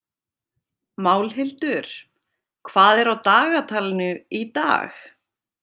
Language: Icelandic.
Málhildur, hvað er á dagatalinu í dag?